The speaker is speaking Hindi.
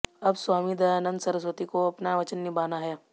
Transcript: अब स्वामी दयानन्द सरस्वती को अपना वचन निभाना है